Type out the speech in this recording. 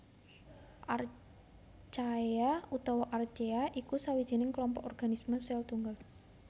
Archaea utawa Archea iku sawijining klompok organisme sèl tunggal